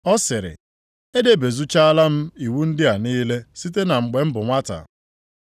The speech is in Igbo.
Ọ sịrị, “Edebezuchaala m iwu ndị a niile site na mgbe m bụ nwata.”